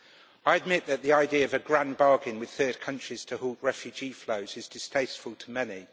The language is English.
I admit that the idea of a grand bargain with third countries to halt refugee flows is distasteful to many.